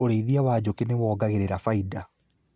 Ũrĩithia wa njũkĩ nĩwongagĩrĩra baida